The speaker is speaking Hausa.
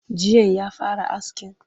Jiyan ya fara askin?